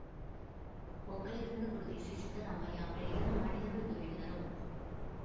ಒಕ್ಕಲಿಗರನ್ನು ಗುರುತಿಸಿ ಸಿದ್ದರಾಮಯ್ಯ ಅವರೇ ಇದನ್ನು ಮಾಡಿದರು ಎಂದು ಹೇಳಿದರು